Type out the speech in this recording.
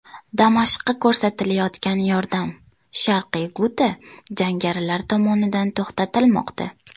Damashqqa ko‘rsatilayotgan yordam, Sharqiy Guta jangarilar tomonidan to‘xtatilmoqda.